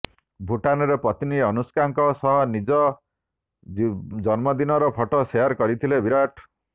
ଭୂଟାନରେ ପତ୍ନୀ ଅନୁଷ୍କାଙ୍କ ସହ ନିଜ ଜନ୍ମଦିନର ଫଟୋ ସେୟାର କରିଥିଲେ ବିରାଟ